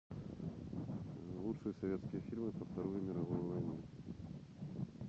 лучшие советские фильмы про вторую мировую войну